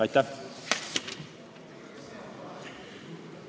Aitäh!